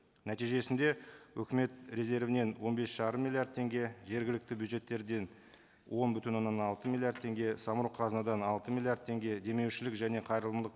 нәтижесінде үкімет резервінен он бес жарым миллиард теңге жергілікті бюджеттерден он бүтін оннан алты миллиард теңге самұрық қазынадан алты миллиард теңге демеушілік және қайырымдылық